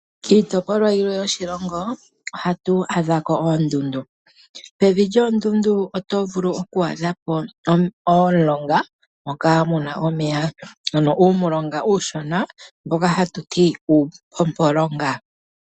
Kiitopolwa yimwe yoshilongo ohatu adhako oondundu. Pevi lyoondundu oto vulu oku adhapo omulonga moka muna omeya. Ano uumulonga uushona mboka hatu ti uupompolonga.